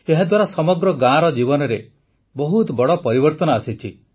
ଏହାଦ୍ୱାରା ସମଗ୍ର ଗାଁର ଜୀବନରେ ବହୁତ ବଡ଼ ପରିବର୍ତ୍ତନ ଆସିଛି